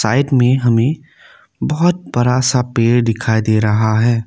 Side में हमें बहुत बरा सा पेर दिखाई दे रहा है।